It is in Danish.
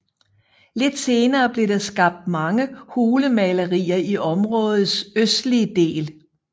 Lidt senere blev der skabt mange hulemalerier i områdets østlige del